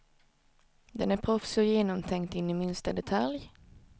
Den är proffsig och genomtänkt in i minsta detalj.